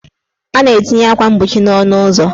A na-etinye akwa mgbochi n' ọnụụzọ.